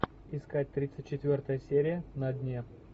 искать тридцать четвертая серия на дне